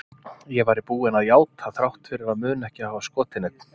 Ég væri búin að játa þrátt fyrir að muna ekki að hafa skotið neinn.